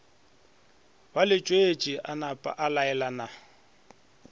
ba letšwetše a napaa laelana